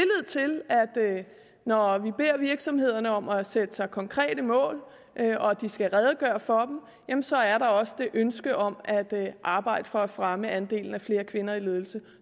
at når vi beder virksomhederne om at sætte sig konkrete mål og de skal redegøre for dem jamen så er der også det ønske om at arbejde for at fremme andelen af kvinder i ledelse